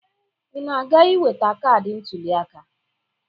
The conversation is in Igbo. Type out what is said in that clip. Ị na-aga iweta kaadị ntụliaka?